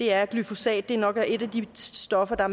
er at glyfosat nok er et af de stoffer der